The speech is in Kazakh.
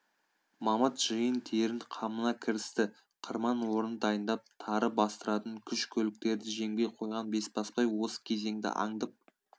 мамыт жиын-терін қамына кірісті қырман орнын дайындап тары бастыратын күш-көліктерді жемге қойған бесбасбай осы кезеңді аңдып